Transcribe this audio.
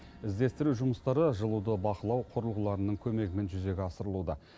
іздестіру жұмыстары жылуды бақылау құрылғыларының көмегімен жүзеге асырылуда